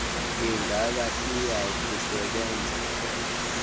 ingaba iya kusebenza